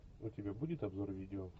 у тебя будет обзор видео